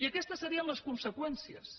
i aquestes serien les conseqüències